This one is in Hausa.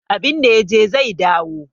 Abinda ya je zai dawo